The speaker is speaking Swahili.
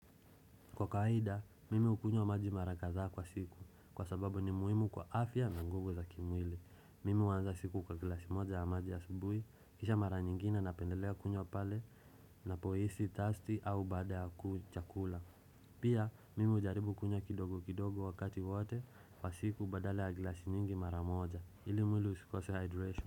Kwa kawaida, mimi hukunywa maji mara kadhaa kwa siku, kwa sababu ni muhimu kwa afya na ngugo za kimwili. Mimi huanza siku kwa glasi moja ya maji ya subuhi, kisha mara nyingina napendelea kunywa pale, ninapohisi, thirsty, au baada ya chakula. Pia, mimi hujaribu kunywa kidogo kidogo wakati wote kwa siku badala ya glasi nyingi mara moja, ili mwili usikose hydration.